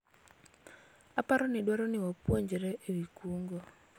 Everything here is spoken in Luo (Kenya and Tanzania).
aparo ni dwaro ni wapuonjre ewi kungo